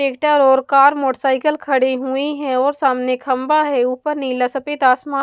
tractor और car motorcycle खड़े हुए हैं और सामने खंबा है ऊपर नीला सफेद आसमा --